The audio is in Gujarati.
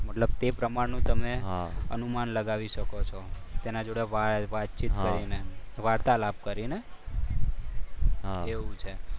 મતલબ તે પ્રમાણેનું તમે અનુમાન લગાવી શકો છો. તેના જોડે વાતચીત કરીને વાર્તાલાપ કરીને. એવું છે?